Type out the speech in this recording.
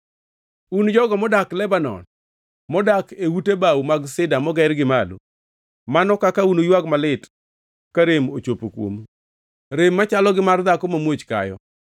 Un jogo modak Lebanon, modak e ute bao mag sida moger gi malo, mano kaka unuywag malit ka rem ochopo kuomu, rem machalo gi mar dhako mamuoch kayo!”